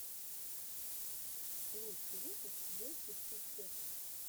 лучший выпуск бэтти пуппет